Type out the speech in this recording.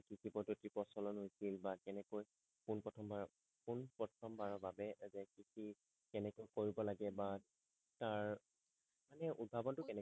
কৃষি পদ্ধতিৰ প্ৰচলন হৈছিল বা কেনেকৈ পোন প্ৰথমবাৰ পোন প্ৰথমবাৰৰ বাবে যে কৃষি কেনেকৈ কৰিব লাগে বা তাৰ এই উৎভাৱটো কেনেকৈ